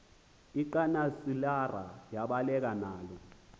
lcanosilarha yabaleka nalo